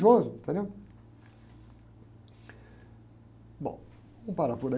Entendeu? Bom, vamos parar por aí